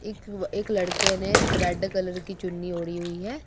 एक एक लड़के ने रेड कलर की चुन्नी ओढ़ी हुई है।